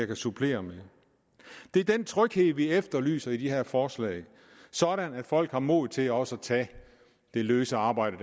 kan supplere med det er den tryghed vi efterlyser i de her forslag sådan at folk har mod til også at tage det løse arbejde